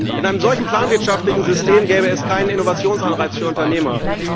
In einem solchen planwirtschaftlichen System gäbe es keinen Innovationsanreiz für Unternehmer.